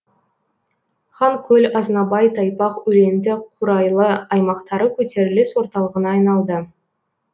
ханкөл азнабай тайпақ өлеңті қурайлы аймақтары көтеріліс орталығына айналды